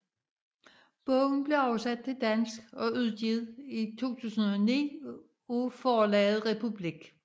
Bogen blev oversat til dansk og udgivet i 2009 af Forlaget Republik